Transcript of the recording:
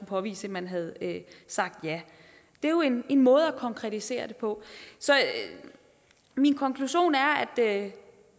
påvise at man havde sagt ja det er jo en måde at konkretisere det på så min konklusion er at